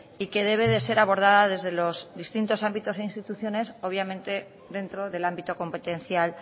y que debe de ser abordada desde los distintos ámbitos e instituciones obviamente dentro del ámbito competencial